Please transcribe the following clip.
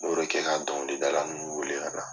M'o de kɛ ka dɔnkilida ninnu weele ka na.